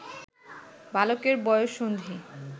বালকের বয়ঃসন্ধি